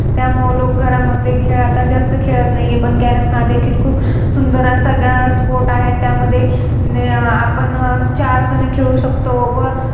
त्यामुळे लोक घरामधले खेळ आता जास्त खेळत नाही पण Carrom हा देखील खूप सुंदर असा Sport आहे. त्यामध्ये अं आपण चार जण खेळू शकतो व